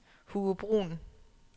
Hugo Bruhn